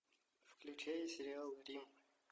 включай сериал гримм